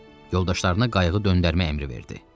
Yoldaşlarına qayıq döndərmək əmri verdi.